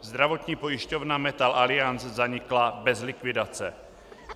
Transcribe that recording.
Zdravotní pojišťovna Metal-Aliance zanikla bez likvidace.